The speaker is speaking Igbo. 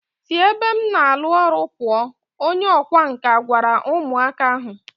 Si ebe m na alu oru puuo, Onye ọkwá nkà gwara umu aka ahu.